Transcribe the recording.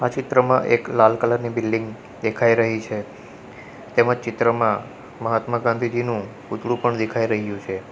ચિત્રમાં એક લાલ કલર ની બિલ્ડીંગ દેખાય રહી છે તેમજ ચિત્રમાં મહાત્મા ગાંધીજીનું પૂતળું પણ દેખાય રહ્યું છે.